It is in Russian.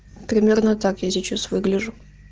примерно так я сейчас выгляжу